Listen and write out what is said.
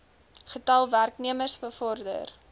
getal werknemers bevorder